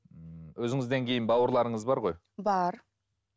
ммм өзіңізден кейін бауырларыңыз бар ғой бар